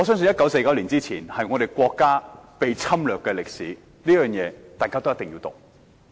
1949年之前我們國家一直被人侵略，我相信這段歷史大家一定要讀。